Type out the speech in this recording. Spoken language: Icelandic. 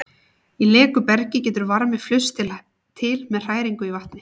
Í leku bergi getur varmi flust til með hræringu í vatni.